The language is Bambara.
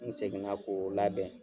N segin na k'o labɛn.